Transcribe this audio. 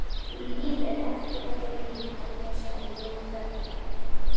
Líf er eftir þetta líf, herra, sagði Jón Bjarnason.